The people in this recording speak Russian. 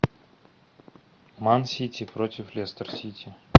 ман сити против лестер сити